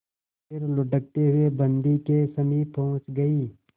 फिर लुढ़कते हुए बन्दी के समीप पहुंच गई